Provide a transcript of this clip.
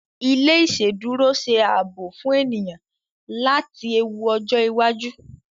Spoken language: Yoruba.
ilé iṣeduro ṣe ààbò fún ènìyàn láti ewu ojo iwájú.